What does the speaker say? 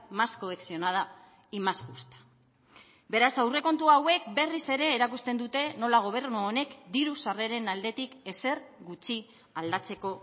más cohesionada y más justa beraz aurrekontu hauek berriz ere erakusten dute nola gobernu honek diru sarreren aldetik ezer gutxi aldatzeko